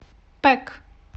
пэк